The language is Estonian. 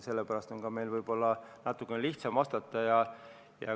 Sellepärast on meil võib-olla natukene lihtsam vastata.